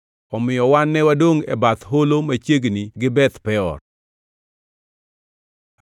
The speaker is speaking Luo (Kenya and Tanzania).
Omiyo wan ne wadongʼ e bath holo machiegni gi Beth Peor.